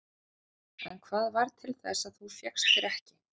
Kristín: En hvað varð til þess að þú fékkst þér ekki?